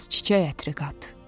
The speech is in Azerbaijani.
Bir az çiçək ətri qat.